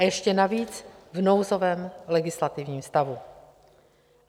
A ještě navíc v nouzovém legislativním stavu.